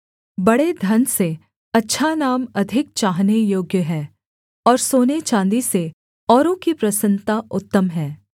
बड़े धन से अच्छा नाम अधिक चाहने योग्य है और सोने चाँदी से औरों की प्रसन्नता उत्तम है